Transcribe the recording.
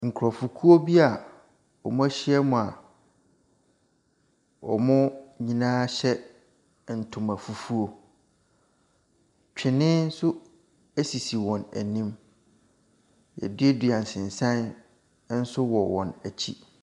Nkrɔfokuo bi a wɔahyam a wɔn nyinaa hyɛ ntoma fufuo. Twene nso esisi wɔn anim. Yɛaduadua nsensan nso wɔ wɔn akyi.